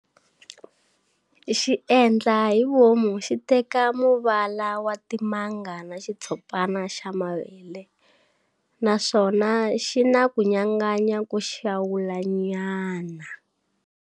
Xiendla hi vomu xiteka muvala wa timanga na xitshopana xa mavele, naswona xina kunyanganya ko xawulanyana.